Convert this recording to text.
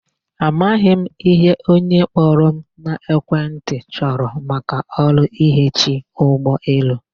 Amaghị m ihe onye kpọrọ m n'ekwentị chọrọ maka ọrụ ihechi ụgbọelu.